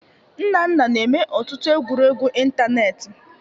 Nnanna na-eme ọtụtụ egwuregwu ịntanetị